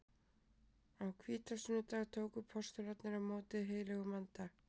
Á hvítasunnudag tóku postularnir á móti heilögum anda.